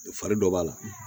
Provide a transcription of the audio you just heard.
Fari dɔ b'a la